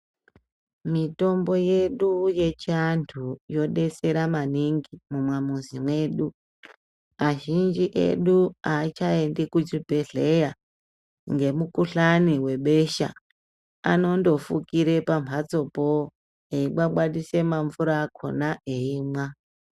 Mitombo yedu yechiantu inotibetsera maningi mumwamuzi medu, azhinji edu avachaendi muzvibhedhlera ngemukuhlani webesha, anonofukira pamhatsopo eibwabwadise mamvura akona eimwa.